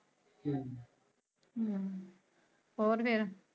ਹਮ ਹੋਰ ਫ਼ਰ?